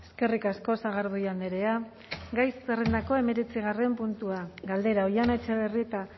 eskerrik asko sagardui andrea gai zerrendako hemeretzigarren puntua galdera oihana etxebarrieta